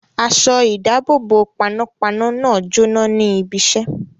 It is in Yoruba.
Aṣọ-ìdáàbòbò panápaná náà jóná ní ibiṣẹ́.